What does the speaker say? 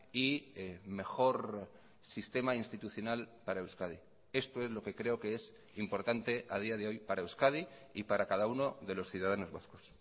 y mejor sistema institucional para euskadi esto es lo que creo que es importante a día de hoy para euskadi y para cada uno de los ciudadanos vascos